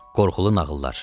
Qorxulu nağıllar.